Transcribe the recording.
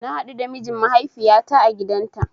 Na haɗu da mijin mahaifiyata a gidanta